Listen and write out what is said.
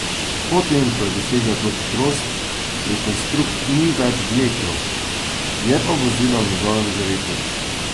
Po tem ko je dosegla to hitrost, je konstrukt ni več vlekel, je pa vozila v njegovem zavetrju.